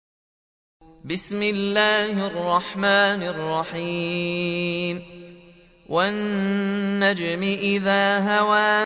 وَالنَّجْمِ إِذَا هَوَىٰ